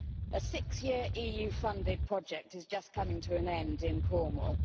A six year EU funded project is just coming to an end in Cornwall.